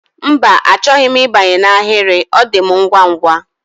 Mba, achọghị m ịbanye n'ahịrị, ọ dị m ngwa ngwa